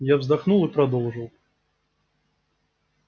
я вздохнул и продолжил